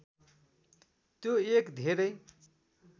त्यो एक धेरै